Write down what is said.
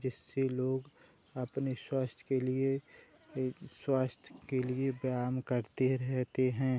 जिससे लोग आपने स्वास्थ के लिए एक स्वास्थ के लिए व्यायम करते रहते हैं।